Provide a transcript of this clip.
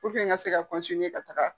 n ka se ka ka taga.